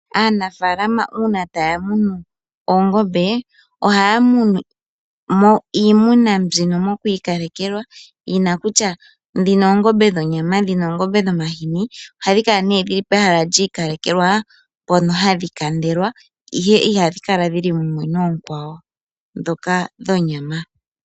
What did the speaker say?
Aanafalama una taya munu oongombe oha ya munu mo iimuna mbyino moku ikalekelwa yina kutya dhino oongombe dhonyama dhino oongombe dhomahini. Oha dhi kala nee pehala lyi ikalekelwa mpono hadhi kandelwa ihe iha dhi kala dhili mumwe no onkwawo dhoka dhonyama.